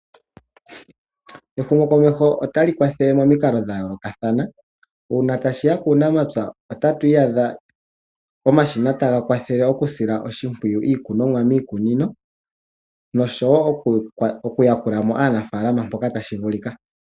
Ehumokomeho otali kwathele momikalo dha yolokathana. Una tashiya kuunamapya otatu iyadha omashina taga kwathele oku sila oshimpwiyu iikunomwa miikunino noshowo oku yakula mo aanafalama mpoka tashi vulika.